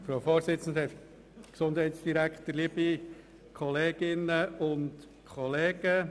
Es handelt sich dabei um einen Eventualantrag.